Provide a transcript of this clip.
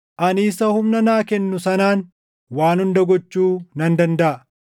Ani isa humna naa kennu sanaan waan hunda gochuu nan dandaʼa.